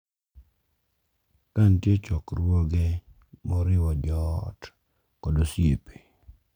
Ka nitie chokruoge ma oriwo joot kod osiepe,